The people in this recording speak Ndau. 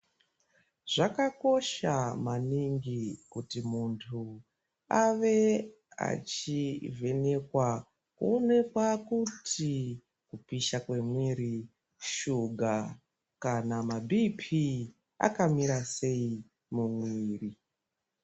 Zvakakosha maningi kuti muntu ave achivhenekwa uyekuonekwa kupisha kwemwiri, shuga kana mabhiipi akamira sei mumwiri.